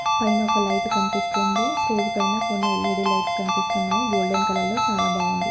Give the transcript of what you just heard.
పైన ఓక లైట్ కనిపిస్తూంది స్టేజ్ పైన కొని ఎల్ఇడి లైట్స్ కనిపిస్తునాయి గోల్డెన్ కలర్ లొ చాలా బాగుంది.